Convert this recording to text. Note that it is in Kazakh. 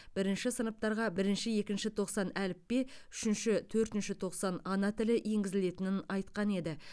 бірінші сыныптарға бірінші екінші тоқсан әліппе үшінші төртінші тоқсан ана тілі енгізілетінін айтқан еді